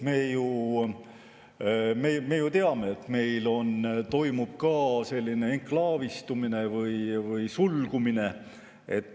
Me ju teame, et meil toimub ka enklaavistumine või sulgumine.